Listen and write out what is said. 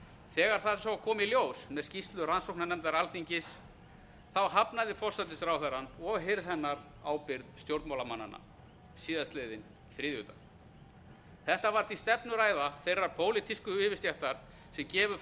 þegar það svo kom í ljós með skýrslu rannsóknarnefndar alþingis hafnaði forsætisráðherrann og hirð hennar ábyrgð stjórnmálamannanna á þriðjudaginn var þetta var því stefnuræða þeirrar pólitísku yfirstéttar sem gefur